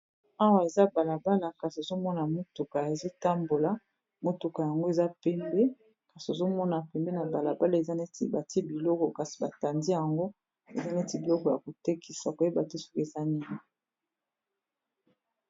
awa eza balabala kasi ozomona motuka ezotambola motuka yango eza pembe kasi ozomona pembe na balabala eza neti bati biloko kasi batandi yango eza neti biloko ya kotekisa koyeba te soki eza nini